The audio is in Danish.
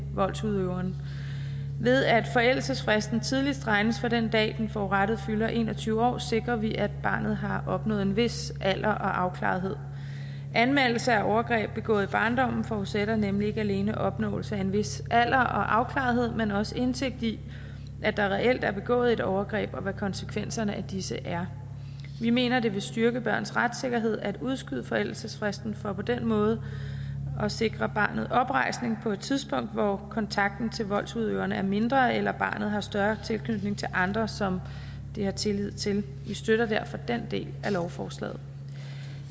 voldsudøveren ved at forældelsesfristen tidligst regnes fra den dag den forurettede fylder en og tyve år sikrer vi at barnet har opnået en vis alder og afklarethed anmeldelse af overgreb begået i barndommen forudsætter nemlig ikke alene opnåelse af en vis alder og afklarethed men også indsigt i at der reelt er begået overgreb og hvad konsekvenserne af disse er vi mener det vil styrke børns retssikkerhed at udskyde forældelsesfristen for på den måde at sikre barnet oprejsning på et tidspunkt hvor kontakten til voldsudøveren er mindre eller hvor barnet har større tilknytning til andre som det har tillid til vi støtter derfor den del af lovforslaget